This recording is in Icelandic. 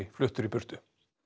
fluttur í burtu